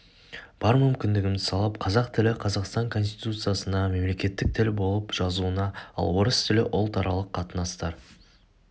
бар мүмкіндігімді салып қазақ тілі қазақстан конституциясында мемлекеттік тіл болып жазылуын ал орыс тілі ұлтаралық қатынастар